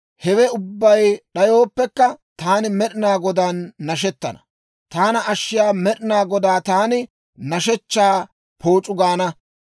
hewe ubbay d'ayooppekka, taani Med'ina Godaan nashettana; taana ashshiyaa Med'ina Godaan taani nashshechchaa pooc'u gaana.